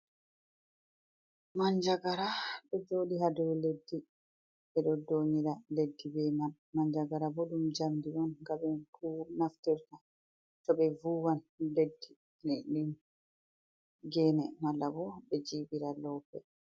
Manjagara ɗo joɗi haa dow leddi ,ɓe ɗo ndoonira leddi be man. Manjagara booɗum njamndi on nga ɓe naftirta, to ɓe vuwan leddi ,ne ɗum geene malla bo ,ɓe jiiɓira loope.